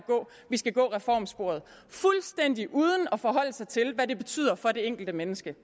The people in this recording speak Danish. vi skal gå reformsporet fuldstændig uden at forholde sig til hvad det betyder for det enkelte menneske